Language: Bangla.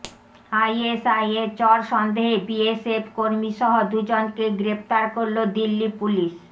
আইএসআইয়ের চর সন্দেহে বিএসএফ কর্মীসহ দুজনকে গ্রেফতার করল দিল্লি পুলিস